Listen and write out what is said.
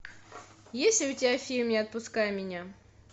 есть ли у тебя фильм не отпускай меня